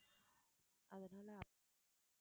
அதனால